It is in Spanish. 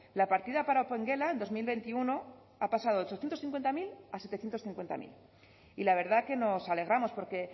la partida para opengela en dos mil veintiuno ha pasado de ochocientos cincuenta mil a zazpiehun eta berrogeita hamar mila y la verdad que nos alegramos porque